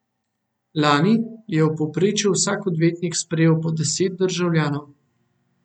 Lani je v povprečju vsak odvetnik sprejel po deset državljanov.